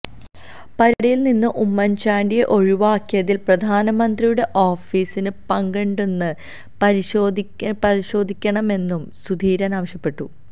പരിപാടിയില് നിന്ന് ഉമ്മന്ചാണ്ടിയെ ഒഴിവാക്കയിതില് പ്രധാനമന്ത്രിയുടെ ഓഫീസിന് പങ്കുണ്ടോയെന്ന് പരിശോധിക്കണമെന്നും സുധീരന് ആവശ്യപ്പെട്ടു